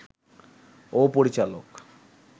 ও পরিচালক